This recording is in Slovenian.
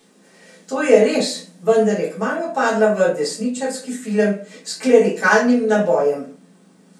To je res, vendar je kmalu padla v desničarski film s klerikalnim nabojem.